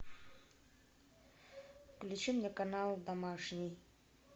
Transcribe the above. включи мне канал домашний